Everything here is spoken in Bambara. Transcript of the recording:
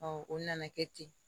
o nana kɛ ten